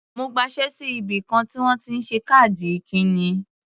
Mo gbaṣé sí ibìkan tí wọ́n ti ń ṣe káàdì ikíni.